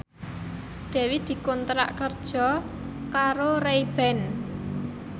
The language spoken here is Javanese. Dewi dikontrak kerja karo Ray Ban